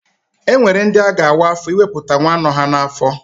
E nwere ndi a ga-awa afọ ịwepụta nwa nọ ha n'afọ.